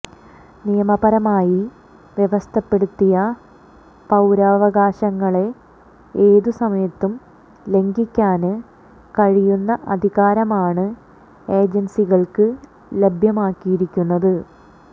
നിയമപരമായി വ്യവസ്ഥപ്പെടുത്തിയ പൌരാവകാശങ്ങളെ ഏതു സമയത്തും ലംഘിക്കാന് കഴിയുന്ന അധികാരമാണ് ഏജന്സികള്ക്ക് ലഭ്യമാക്കിയിരിക്കുന്നത്